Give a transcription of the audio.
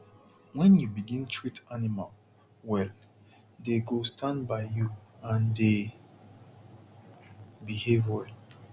wen u begin treat animal well dey go stand by you and dey behave well